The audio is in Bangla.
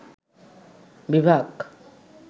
বিভাগ